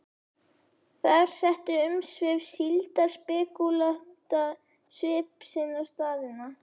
Þar settu umsvif síldarspekúlanta svip sinn á staðina.